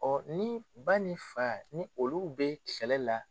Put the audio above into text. ni ba ni fa ni olu bɛ kɛlɛ la.